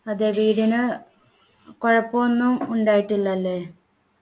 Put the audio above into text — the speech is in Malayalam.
അതെ വീടിന് കുഴപ്പമൊന്നും ഉണ്ടായിട്ടില്ല അല്ലേ